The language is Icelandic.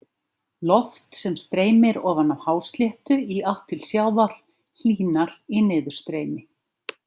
Loft sem streymir ofan af hásléttu í átt til sjávar hlýnar í niðurstreymi.